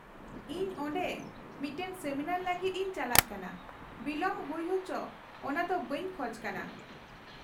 -ᱤᱧ ᱚᱸᱰᱮ ᱢᱤᱫᱴᱟᱝ ᱥᱮᱢᱤᱱᱟᱨ ᱞᱟᱹᱜᱤᱫ ᱤᱧ ᱪᱟᱞᱟᱜ ᱠᱟᱱᱟ, ᱵᱤᱞᱚᱢ ᱦᱩᱭ ᱦᱚᱪᱚᱜ ᱚᱱᱟ ᱫᱚ ᱵᱟᱹᱧ ᱠᱷᱚᱡ ᱠᱟᱱᱟ ᱾